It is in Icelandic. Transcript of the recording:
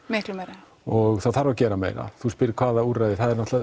miklu meira og það þarf að gera meira þú spyrð hvaða úrræði